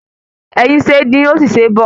Ẹyin ṣe é dín, ó sì ṣe é bọ̀